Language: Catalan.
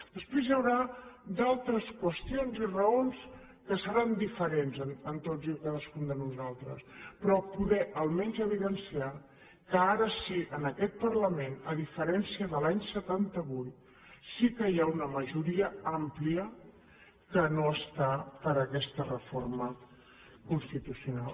després hi haurà altres qüestions i raons que seran diferents en tots i cadascun de nosaltres però poder almenys evidenciar que ara sí en aquest parlament a diferència de l’any setanta vuit sí que hi ha una majoria àmplia que no està per aquesta reforma constitucional